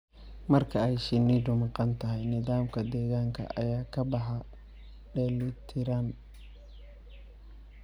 Marka ay shinnidu maqan tahay, nidaamka deegaanka ayaa ka baxay dheellitirnaan.